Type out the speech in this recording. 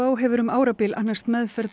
hefur um árabil annast meðferð